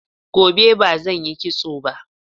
Gobe ba zan yi kitso ba.